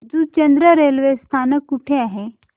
Juchandra railway स्थानक कुठे आहे